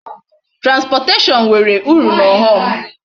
Transportation nwere uru na aghom